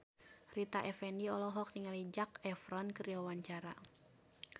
Rita Effendy olohok ningali Zac Efron keur diwawancara